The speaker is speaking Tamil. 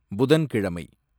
புதன்கிழமை